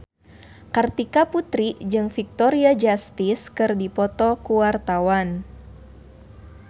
Kartika Putri jeung Victoria Justice keur dipoto ku wartawan